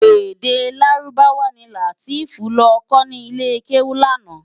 Èdè Lárúbáwá ni Lateef lò kò ni ilé kéwú làná